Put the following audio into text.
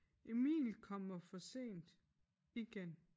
Emil kommer for sent igen